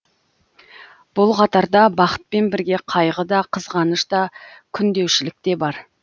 бұл қатарда бақытпен бірге қайғы да қызғаныш та күндеушілік те бар